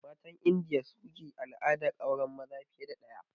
Matan Indiya su ke al'adar auren maza fiye da ɗaya da